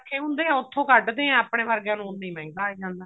ਪਏ ਹੁੰਦੇ ਆ ਉੱਥੋਂ ਕੱਡਦੇ ਆ ਆਪਣੇ ਵਰਗੇ ਨੂੰ ਉੰਨਾ ਹੀ ਮਹਿੰਗਾ ਆਈ ਜਾਂਦਾ